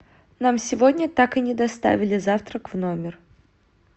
нам сегодня так и не доставили завтрак в номер